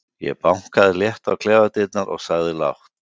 Ég bankaði létt á klefadyrnar og sagði lágt